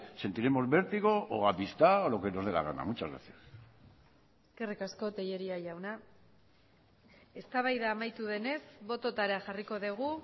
sentiremos vértigo o amistad o lo que nos dé la gana muchas gracias eskerrik asko tellería jauna eztabaida amaitu denez bototara jarriko dugu